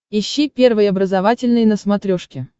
ищи первый образовательный на смотрешке